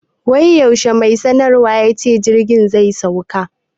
Wai yaushe mai sanarwan yace jirgin zai sauka?